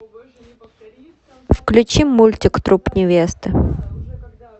включи мультик труп невесты